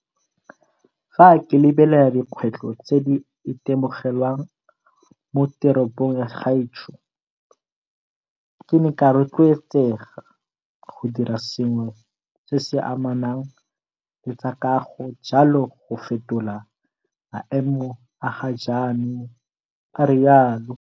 Fa ke lebelela dikgwetlho tse di itemogelwang mo teropong ya gaetsho, ke ne ka rotloetsega go dira sengwe se se amanang le tsa kago jalo go fetola maemo a ga jaanong, a rialo.